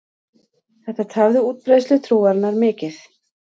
Þetta tafði útbreiðslu trúarinnar mikið.